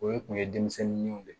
O ye kun ye denmisɛnninw de